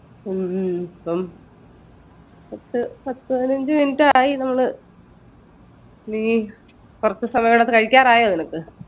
ഹും പത്തു പതിനഞ്ച minute ആയി നമ്മൾ നീ കുറച്ച സമയം കഴിക്കാറായോ നീ